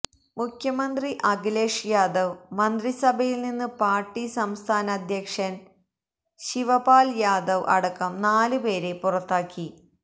മുഖ്യമന്ത്രി അഖിലേഷ് യാദവ് മന്ത്രിസഭയില് നിന്ന് പാര്ട്ടി സംസ്ഥാന അധ്യക്ഷന് ശിവപാല് യാദവ് അടക്കം നാലു പേരെ പുറത്താക്കി